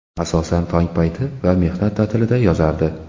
Asosan tong payti va mehnat ta’tilida yozardi.